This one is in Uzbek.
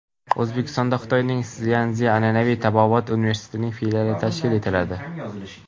O‘zbekistonda Xitoyning Szyansi an’anaviy tabobat universitetining filiali tashkil etiladi.